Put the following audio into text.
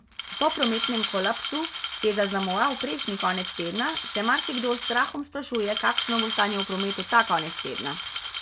Po prometnem kolapsu, ki je zaznamoval prejšnji konec tedna, se marsikdo s strahom sprašuje, kakšno bo stanje v prometu ta konec tedna.